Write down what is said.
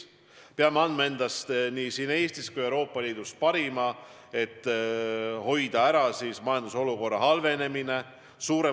Me peame andma endast nii siin Eestis kui kogu Euroopa Liidus parima, et hoida ära üldise majandusolukorra halvenemine.